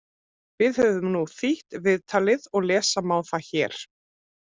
Við höfum nú þýtt viðtalið og lesa má það hér: